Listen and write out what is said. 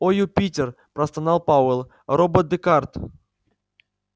о юпитер простонал пауэлл робот-декарт